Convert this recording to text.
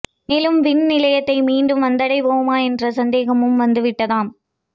மேலும் விண் நிலையத்தை மீண்டும் வந்தடைவோமா என்ற சந்தேகமும் வந்து விட்டதாம்